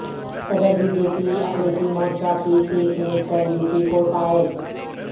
صدر B J P اقلیتی مورچہ کی چیف منسٹر یوپی کو تائید